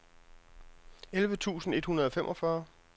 elleve tusind et hundrede og femogfyrre